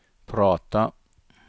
prata